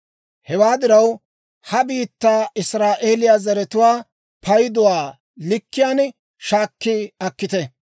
«Hewaa diraw, ha biittaa Israa'eeliyaa zaratuwaa payduwaa likkiyaan shaakki akkite.